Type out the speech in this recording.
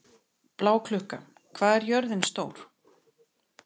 Bláklukka, hvað er jörðin stór?